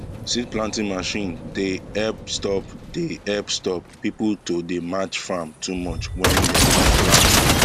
seed planting machine they help stop they help stop people to dey match farm too much when dem dey plant